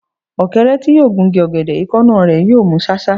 Ọ̀kẹ́rẹ́ tí yóò gun igi ọ̀gẹ̀dẹ̀, èékánná rẹ̀ yóò mú ṣáṣá.